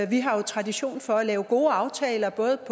vi har jo tradition for at lave gode aftaler både